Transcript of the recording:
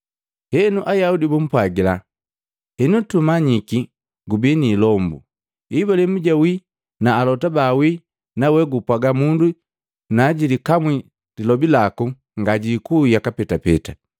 Henu Ayaudi bumpwagila, “Henu tumanyiki gubi niilombu! Ibulahimu jawii, na alota bawii nawe gupwaga mundu najilikamwi lilobi laku ngajikui yaka petapeta.